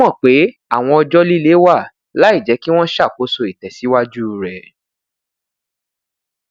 ó mọ pé awọn ọjọ lile wà laijẹ kí wọn ṣàkóso ìtẹsíwájú rẹ